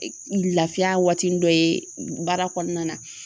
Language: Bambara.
Lafiya waatinin dɔ ye baara kɔnɔna na